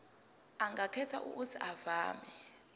angakhetha uuthi avume